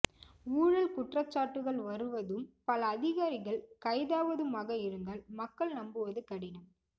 ஊழல் குற்றச்சாட்டுகள் வருவதும் பல அதிகாரிகள் கைதாவதுமாக இருந்தால் மக்கள் நம்புவது கடினம்